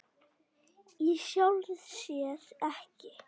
Í sjálfu sér ekki.